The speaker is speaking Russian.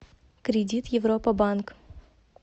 кредит европа банк